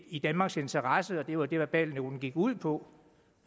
i danmarks interesse og det var det verbalnoten gik ud på